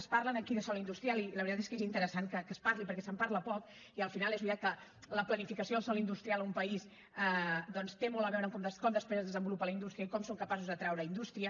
es parla aquí de sòl industrial i la veritat és que és interessant que se’n parli perquè se’n parla poc i al final és veritat que la planificació del sòl industrial a un país doncs té molt a veure amb com després es desenvolupa la indústria i com som capaços d’atraure indústria